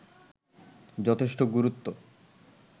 যথেষ্ট গুরুত্ব